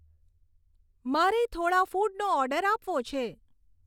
મારે થોડાં ફૂડનો ઓર્ડર આપવો છે